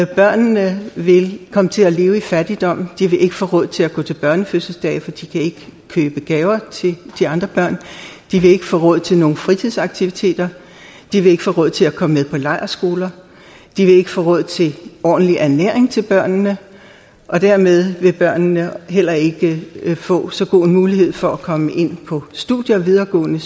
børnene vil komme til at leve i fattigdom de vil ikke få råd til at gå til børnefødselsdage for de kan ikke købe gaver til de andre børn de vil ikke få råd til nogen fritidsaktiviteter de vil ikke få råd til at komme med på lejrskoler de vil ikke få råd til ordentlig ernæring til børnene og dermed vil børnene heller ikke få så god en mulighed for at komme ind på videregående